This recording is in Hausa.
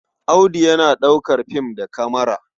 Audu yana ɗaukar film da kamara.